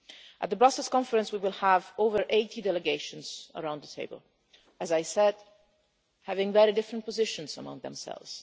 At the Brussels Conference we will have over 80 delegations around the table, as I said, with very different positions among themselves.